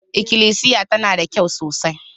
Ikilisiyar tana da kyau sosai.